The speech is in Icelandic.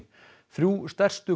þrjú stærstu